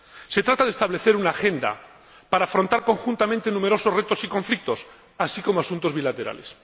Se trata de establecer una agenda para afrontar conjuntamente numerosos retos y conflictos, así como asuntos bilaterales.